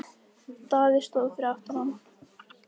Daði stóð fyrir aftan hann.